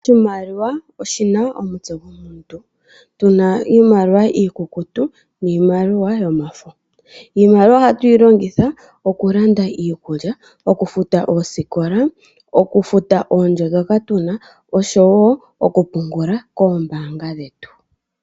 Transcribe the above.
Oshimaliwa oshina omutse gomuntu tuna iimaliwa iikukutu niimaliwa yomafo .Iimaliwa ohatuyi longitha oku landa iikulya, okufuta oosikola, okufuta oondjo ndhoka tuna oshowo oku pungula kombaanga dhetu.